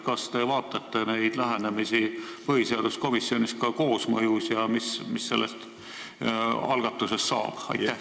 Kas te vaatate neid lähenemisi põhiseaduskomisjonis koosmõjus ja mis sellest algatusest saab?